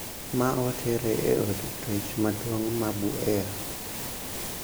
Ma otere e od twech maduong` ma Buea.